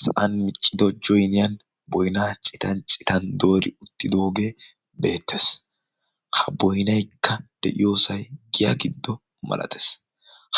Sa'an miccido joyinniya boynna citan citan doori uttidooge beettees. ha boynnaykka diyaasay giyaa giddo masatees.